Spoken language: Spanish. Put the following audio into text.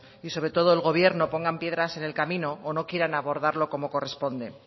y sobre todo el gobierno pongan piedras en el camino o no quieran abordarlo como corresponde